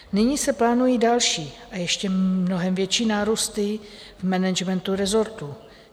Nyní se plánují další, a ještě mnohem větší nárůsty v managementu rezortu.